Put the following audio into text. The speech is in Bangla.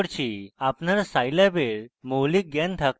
আপনার scilab এর মৌলিক জ্ঞান থাকা উচিত